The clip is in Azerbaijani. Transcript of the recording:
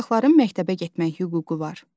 Uşaqların məktəbə getmək hüququ var.